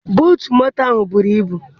Buutu moto ahụ buru ibu.